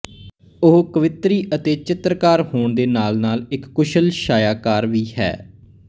ਉਹ ਕਵਿੱਤਰੀ ਅਤੇ ਚਿੱਤਰਕਾਰ ਹੋਣ ਦੇ ਨਾਲ ਨਾਲ ਇੱਕ ਕੁਸ਼ਲ ਛਾਇਆਕਾਰ ਵੀ ਹੈ